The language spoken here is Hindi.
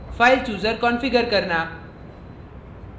file chooser configure करना